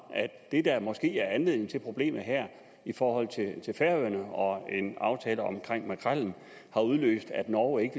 at det der måske er anledningen til problemet her i forhold til færøerne og en aftale om makrellen har udløst at norge ikke